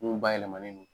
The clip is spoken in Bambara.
Mun bayɛlɛmalen don